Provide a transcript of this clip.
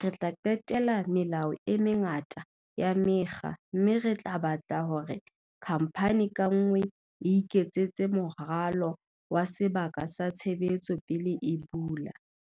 re tla qetela melao e mengata ya mekga mme re tla batla hore khamphani ka nngwe e iketsetse moralo wa sebaka sa tshebetso pele e bula."